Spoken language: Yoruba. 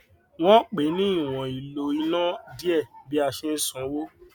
wọn pè ní ìwòn ìlò iná díẹ bí a ṣe ń san owó